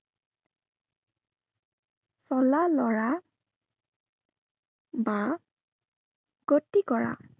চলা লৰা বা গতি কৰা।